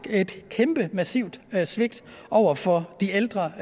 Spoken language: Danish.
et kæmpe massivt svigt over for de ældre